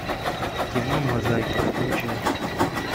кино мозаика включай